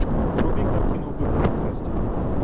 вруби картину в духе фантастики